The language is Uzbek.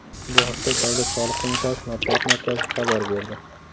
Bu haqda Davlat soliq qo‘mitasi matbuot markazi xabar berdi.